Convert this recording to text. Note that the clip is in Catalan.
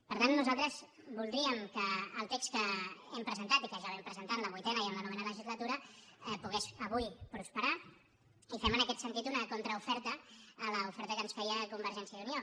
per tant nosaltres voldríem que el text que hem presentat i que ja vam presentar en la vuitena i en la novena legislatura pogués avui prosperar i fem en aquest sentit una contraoferta a l’oferta que ens feia convergència i unió